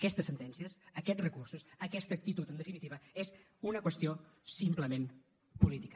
aquestes sentències aquests recursos aquesta actitud en definitiva és una qüestió simplement política